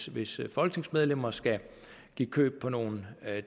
hvis folketingsmedlemmer skal give køb på nogle